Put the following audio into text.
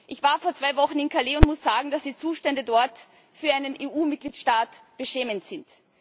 Ich war vor zwei Wochen in Calais und muss sagen, dass die Zustände dort für einen EU-Mitgliedstaat beschämend sind.